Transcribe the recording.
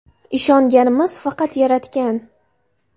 Ishonganimiz faqat Yaratgan.